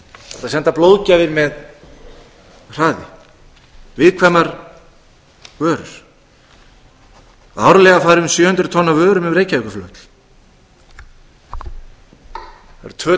senda blóðgjafir með hraði viðkvæmar vörur og árlega fari um sjö hundruð tonn af vörum um reykjavíkurflugvöll það eru tvö